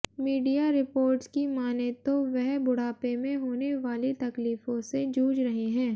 media reports की मानें तो वह बुढ़ापे में होने वाली तकलीफों से जूझ रहे हैं